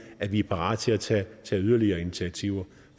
at vi er parate til at tage yderligere initiativer